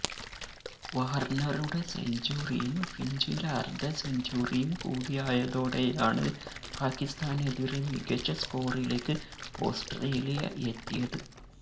വാര്ണറുടെ സെഞ്ചുറിയും ഫിഞ്ചിന്റെ അര്ധസെഞ്ചുറിയും കൂടിയായതോടെയാണ് പാക്കിസ്ഥാനെതിരെ മികച്ച സ്കോറിലേക്ക് ഓസ്ട്രേലിയ എത്തിയത്